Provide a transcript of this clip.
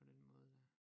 På den måde der